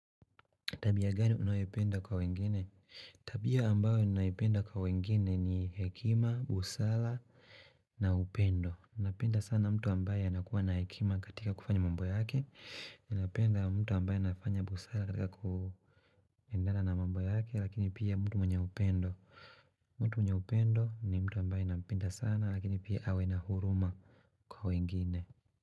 Tabia gani unayoipenda kwa wengine? Tabia ambayo naipenda kwa wengine ni hekima, busala na upendo. Napenda sana mtu ambayo inakuwa na hekima katika kufanya mambo yake. Napenda mtu ambayo inafanya busala katika kuendala na mambo yake. Lakini pia mtu mwenye upendo. Mtu mwenye upendo ni mtu ambayo inapenda sana. Lakini pia awe inahuruma kwa wengine.